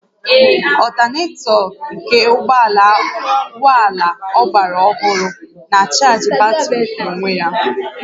Ọltanetọ nke ụgbọ ala ọgbara ọhụrụ na-achaajị batrị n'onwe ya